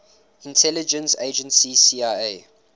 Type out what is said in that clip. intelligence agency cia